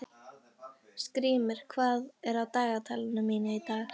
Skrýmir, hvað er á dagatalinu mínu í dag?